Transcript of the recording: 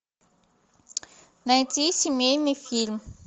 найти семейный фильм